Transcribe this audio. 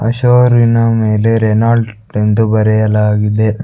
ಆ ಶೋರಿನ ಮೇಲೆ ರೇನಾಲ್ಟ್ ಎಂದು ಬರೆಯಲಾಗಿದೆ.